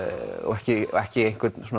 ekki ekki